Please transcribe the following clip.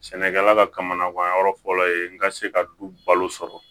Sɛnɛkɛla kamanagan yɔrɔ fɔlɔ ye n ka se ka du balo sɔrɔ